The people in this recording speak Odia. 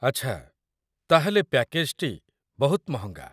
ଆଚ୍ଛା, ତା'ହେଲେ, ପ୍ୟାକେଜ୍‌ଟି ବହୁତ ମହଙ୍ଗା।